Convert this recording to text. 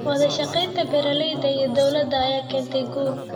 Wadashaqeynta beeralayda iyo dowladda ayaa keenta guul.